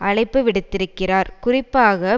அழைப்புவிடுத்திருக்கிறார் குறிப்பாக